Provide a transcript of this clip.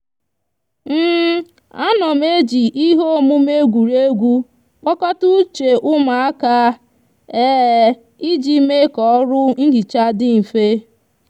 a no m eji ihe omume egwureegwu kpokota uche umu aka iji mee ka oru nhicha di nfe